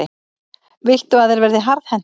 Viltu að þeir verði harðhentir?